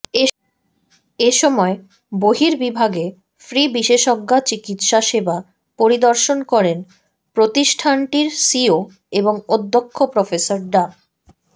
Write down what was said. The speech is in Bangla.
এসময় বর্হিবিভাগে ফ্রি বিশেষজ্ঞা চিকিৎসা সেবা পরিদর্শন করেন প্রতিষ্ঠানটির সিইও এবং অধ্যক্ষ প্রফেসর ডা